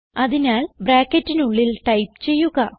അതിനാൽ ബ്രാക്കറ്റിനുള്ളിൽ ടൈപ്പ് ചെയ്യുക